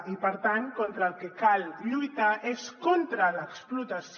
i per tant contra el que cal lluitar és contra l’explotació